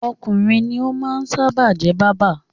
Ọkùnrin ní ó máa ń sábà jẹ́ báábà.